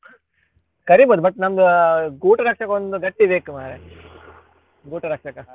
ಕರೀಬೋದು but ನಮ್ದು ಗೂಟ ಕಟ್ಲಿಕ್ಕೆ ಒಂದು ಗಟ್ಟಿ ಬೇಕು ಮಾರ್ರೆ ಗೂಟ ಕಟ್ಬೇಕಲ್ಲ.